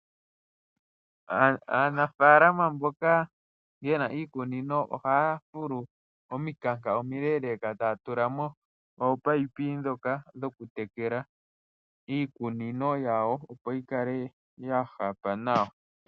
Aanafaalama mboka yena iikunino ohaya fulu omikanka omileleka etaya tula mo ominino dhoka dhoku tekela iimeno opo yi kale yahapa nawa.